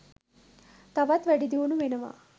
තවත් වැඩිදියුණු වෙනවා.